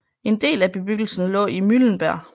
En del af bebyggelsen lå i Mühlenberg